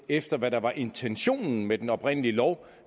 efter hvad der var intentionen med den oprindelige lov